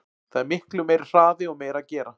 Það er miklu meiri hraði og meira að gera.